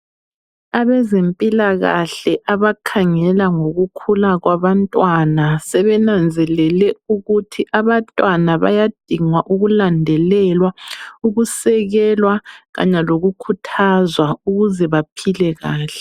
Abezempilakahle abakhangela ngokukhula kwabantwana sebenanzelele ukuthi abantwana bayadingwa ukulandelelwa, ukusekelwa kanye lokukhuthazwa ukuze baphile kahle.